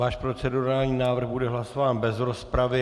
Váš procedurální návrh bude hlasován bez rozpravy.